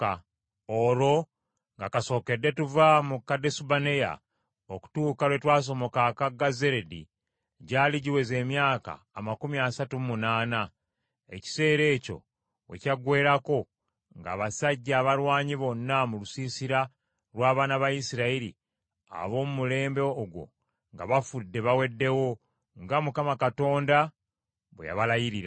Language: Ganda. Olwo nga kasookedde tuva mu Kadesubanea okutuusa lwe twasomoka akagga Zeredi gyali giweze emyaka amakumi asatu mu munaana. Ekiseera ekyo we kyaggweerako ng’abasajja abalwanyi bonna mu lusiisira lw’abaana ba Isirayiri, ab’omu mulembe ogwo, nga bafudde baweddewo, nga Mukama Katonda bwe yabalayirira.